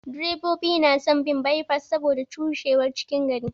Direbobi na son bin bye pass saboda cushewar cikin gari.